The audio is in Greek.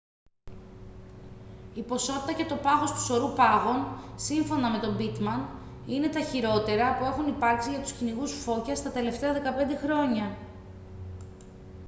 η ποσότητα και το πάχος του σωρού πάγων σύμφωνα με τον pittman είναι τα χειρότερα που έχουν υπάρξει για τους κυνηγούς φώκιας τα τελευταία 15 χρόνια